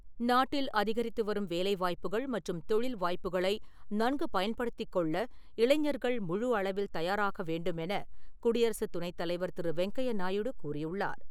நாட்டில் அதிகரித்து வரும் வேலை வாய்ப்புகள் மற்றும் தொழில் வாய்ப்புக்களை நன்கு பயன்படுத்திக் கொள்ள இளைஞர்கள் முழு அளவில் தயாராக வேண்டும் என குடியரசு துணைத் தலைவர் திரு. வெங்கையா நாயுடு கூறியுள்ளார்.